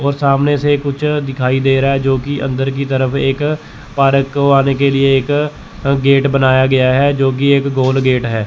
और सामने से कुछ दिखाई दे रहा है जो की अंदर की तरफ एक पार्क को आने के लिए एक गेट बनाया गया है जो की एक गोल गेट है।